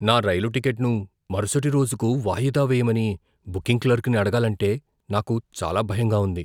నా రైలు టిక్కెట్ను మరుసటి రోజుకు వాయిదా వేయమని బుకింగ్ క్లర్క్ని అడగాలంటే నాకు చాలా భయంగా ఉంది.